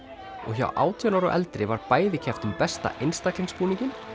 og hjá átján ára og eldri var bæði keppt um besta einstaka búninginn